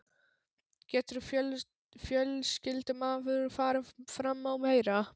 Getur fjölskyldumaður farið fram á meira?